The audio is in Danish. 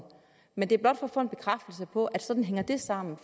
men det er blot for at få en bekræftelse på at sådan hænger det sammen